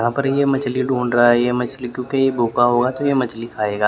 यहां पर ये मछली ढूंढ रहा है ये मछली क्योंकि ये भूखा होगा तो ये मछली खाएगा ।